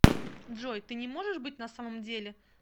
джой ты не можешь быть на самом деле